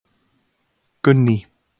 Gunný